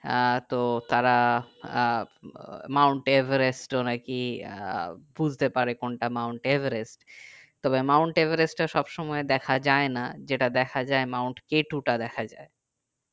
আহ তো তারা আহ ও মাউন্টএভারেস্ট ও নাকি আহ বুঝতে পারে কোনটা মাউন্টএভারেস্ট তবে মাউন্টএভারেস্ট সবসময় দেখা যায় না যেটা দেখা যাই মাউন্টকেটু তা দেখা যাই